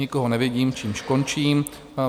Nikoho nevidím, čímž končím.